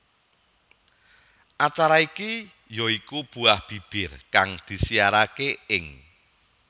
Acara iki ya iku Buah Bibir kang disiyaraké ing